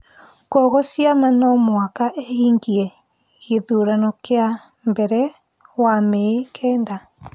kwoguo ciama no mũhaka ihingie gĩthurano kĩa mbere wa Mĩĩ kenda.